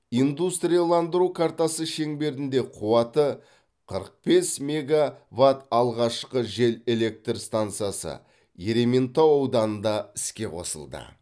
индустрияландыру картасы шеңберінде қуаты қырық бес меговатт алғашқы жел электр стансасы ерейментау ауданында іске қосылды